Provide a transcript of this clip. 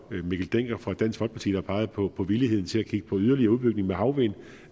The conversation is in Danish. mikkel dencker fra dansk folkeparti der pegede på på villigheden til at kigge på yderligere udbygning af havvind